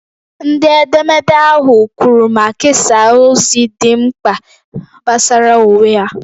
Ndị edemede ahụ kwuru ma kesaa ozi dị mkpa gbasara onwe ha.